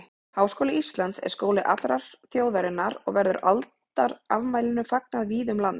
Háskóli Íslands er skóli allrar þjóðarinnar og verður aldarafmælinu fagnað víða um land.